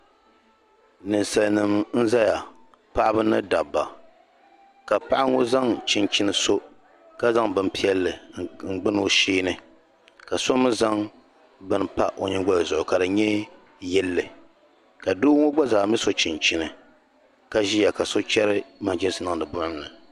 ninsalinima n-zaya paɣiba ni dabba ka paɣa ŋɔ zaŋ chinchini so ka zaŋ bimpiɛlli n-gbuni o shee ni ka so mi zaŋ bini pa o nyingoli zuɣu ka di nyɛ yilli ka doo ŋɔ gba zaa mi so chinchini ka ʒia ka so chɛri manchiisi niŋdi buɣim ni